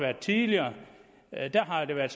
tidligere har det været